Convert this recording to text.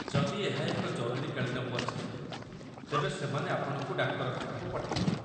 ଯଦି ଏହା ଏକ ଜରୁରୀକାଳୀନ ପରିସ୍ଥିତି, ତେବେ ସେମାନେ ଆପଣଙ୍କୁ ଡାକ୍ତରଖାନାକୁ ପଠାଇଦେବେ।